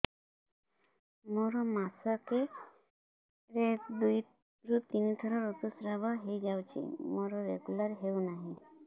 ମୋର ମାସ କ ରେ ଦୁଇ ରୁ ତିନି ଥର ଋତୁଶ୍ରାବ ହେଇଯାଉଛି ମୋର ରେଗୁଲାର ହେଉନାହିଁ